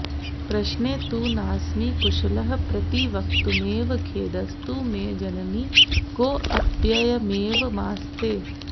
प्रश्ने तु नास्मि कुशलः प्रतिवक्तुमेव खेदस्तु मे जननि कोऽप्ययमेवमास्ते